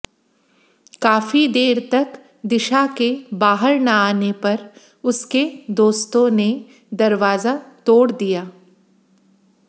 काफी देर तक दिशा के बाहर न आने पर उसके दोस्तों ने दरवाजा तोड़ दिया